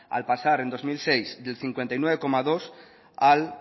al pasar en dos mil seis del cincuenta y nueve coma dos por ciento al